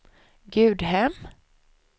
Gudhem